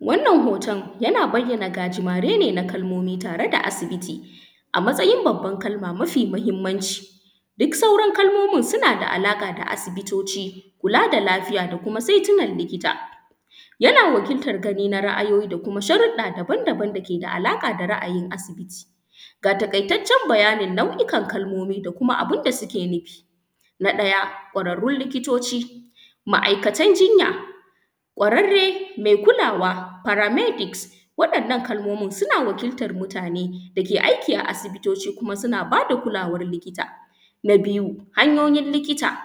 Wannan hoton yana bayyana gajimari ne na kalmomi tare da asibiti a matsayin babban kalama ma yi mahinamanci duka sauran kalmomin suna da alaƙa da asibitoci kula da lafiya da kuma saitunan likita, yana wakiltan gani na ra’ayoyi da kuma sharuɗɗa daban-daban da ke da alaƙa da asibiti. Ga taƙaitacen bayani da nau’okan kalmomi da abin da suke nifi na ɗaya kwararrun likitoci, ma’aikatan jinya, kwararre kulawa paramedics wannan kalmomin suna wakiltan mutane da ke aiki a asibitoci kuma suna ba da kulawan likita. Na biyu hanyoyin likita,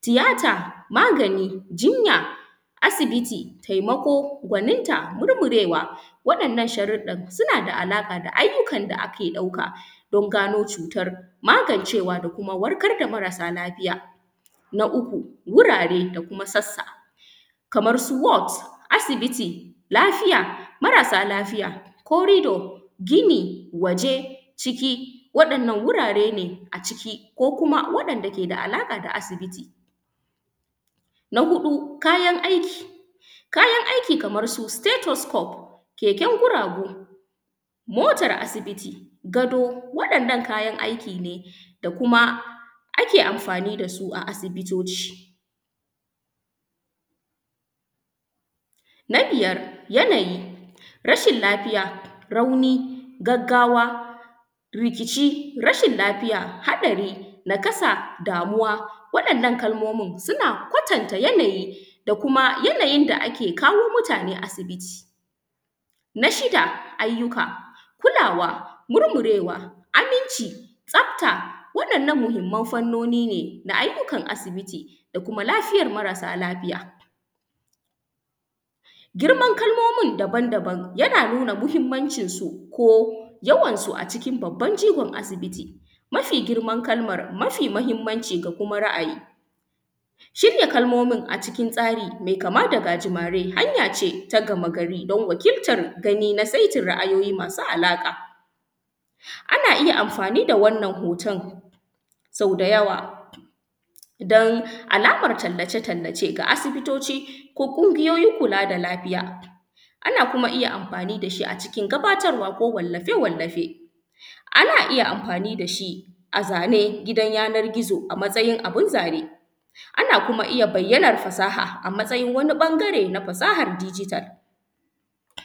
tiyata, magani, jinya, asibiti, taimakon gwaninta, murmurewa waɗan ayyukan suna da alaƙa da irin ayyukan da ake ɗauka don gano cutan, magancewa don warkar da maralafita. N a uku, wurare da kuma sassa kamar su word, asibiti, lafiya, marasa lafiya, korido, gini, waje, ciki, waɗannan wurare a ciki ko kuma waɗanda ke da alaƙa da asibiti. Na huɗu kayan aiki, kayan aiki Kaman su satytuscup, keken guragu, motar asibiti, gado, waɗannan kayan aiki ne da kuma ake anfani da su a kuma asibitoci. Na biyar yanayi rashin lafiya, rauni, gaggawa, rikici, rashin lafiya, hatsari, naƙasa, damuwa waɗannan kalmomin suna kwatanta yanayi da kuma yanayin da ake kawo mutane asibiti. Na shida ayyuka kulawa, murmurewa, aminci, tsafta wa’yannan muhinmanci fanoni na ayyukan asibiti da kuma lafiyan marasa lafiya. Girman kalmomin daban-daban suna nuna yawansu ko kuma babban jigonsu a asibiti, mafi girman kalaman, mafi mahinmanci da kuma ra’ayi, shirya kalmomin a cikin tsari me kama da gajimari hanya ce ta gamagari domin wakiltan gani na saitin ra’ayoyi masu alaƙa, ana iya anfani da wannan hoton saudayawa domin alaman talalace-tallace ga asibitoci ko ƙungiyoyin kula da lafiya, ana iya kuma anfani da shi a cikin gabatarwa ko wallafe-wallafe, ana iya anfani da shi a zane na yanar gizo a matsayin abin zane, ana iya kuma bayyana fasaha a matsayin wani ɓangare na fasahan digital.